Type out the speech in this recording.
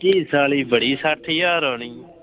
ਕੀ ਸਾਲੀ ਬੜੀ ਸੱਠ ਹਜਾਰ ਆਉਣੀ।